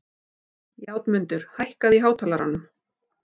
Játmundur, hækkaðu í hátalaranum.